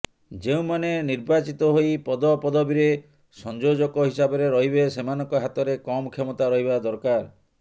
ଯେଉଁମାନେ ନିର୍ବାଚିତ ହୋଇ ପଦପଦବୀରେ ସଂଯୋଜକ ହିସାବରେ ରହିବେ ସେମାନଙ୍କ ହାତରେ କମ୍ କ୍ଷମତା ରହିବା ଦରକାର